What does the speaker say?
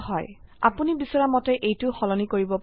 আপোনি বিচৰা মতে এইটো সলনি কৰিব পাৰে